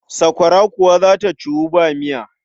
Sakwara kuwa za ta ciwu ba miya.